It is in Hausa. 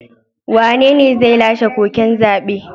Wanene zai lashe koken zabe?